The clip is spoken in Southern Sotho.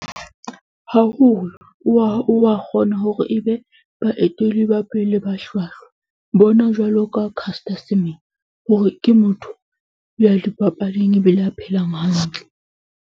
Haholo wa kgona hore e be baetele ba pele ba hlwahlwa. Bona jwalo ka Caster Semenya hore ke motho ya dipapading e be le a phelang hantle.